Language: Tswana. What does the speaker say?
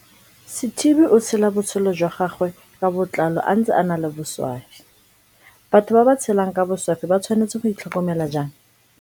Sithibe o tshela botshelo jwa gagwe ka botlalo a ntse a na le boswafi Batho ba ba tshelang ka boswafi ba tshwanetse go itl hokomela jang?